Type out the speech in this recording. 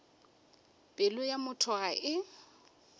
pelo ya motho ga e